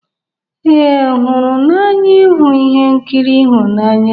Ee, hụrụ n'anya ịhụ ihe nkiri ịhụnanya